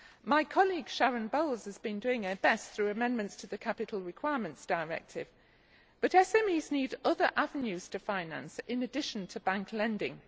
My colleague Sharon Bowles has been doing her best through amendments to the Capital Requirements Directive, but SMEs need other avenues to finance in addition to bank lending.